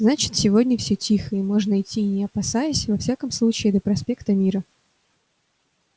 значит сегодня все тихо и можно идти не опасаясь во всяком случае до проспекта мира